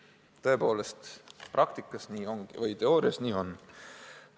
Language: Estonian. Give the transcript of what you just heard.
Tõepoolest, teoorias nii on.